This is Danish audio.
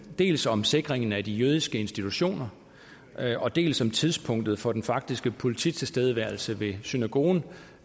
dels om sikringen af de jødiske institutioner dels om tidspunktet for den faktiske polititilstedeværelse ved synagogen